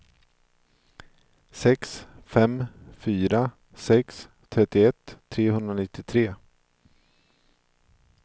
sex fem fyra sex trettioett trehundranittiotre